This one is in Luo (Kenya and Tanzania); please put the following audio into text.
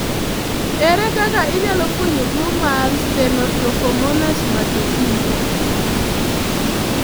Ere kaka inyalo fweny tuwo mar Stenotrophomonas maltophilia?